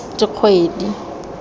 dikgwedi